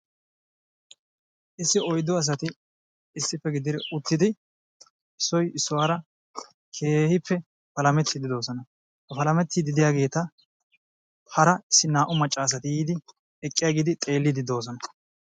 Issi oyddu asati issippe gididi uttidi issoy issuwara keehippe palametiidi de'oosona; palametiidi diyageeta hara issi naa'u maccaasati eqqidi xeeliidi de'oosona.